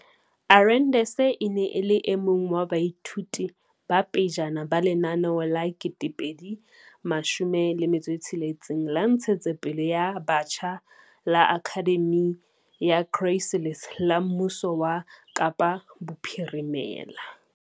Arendse e ne e le e mong wa baithuti ba pejana ba lenaneo la 2016 la ntshetsopele ya batjha la Akhademi ya Chrysalis la mmuso wa Kapa Bophirimela.